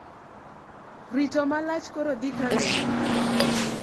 Rito malach koro dhi karumo